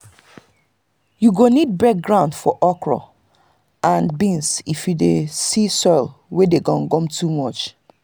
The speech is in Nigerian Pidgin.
you go need break ground for okra and beans if you dey see soil wey dey gum gum too much.